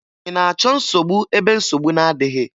Ị na-achọ nsogbu ebe nsogbu na-adịghị?